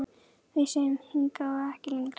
Við segjum: Hingað og ekki lengra!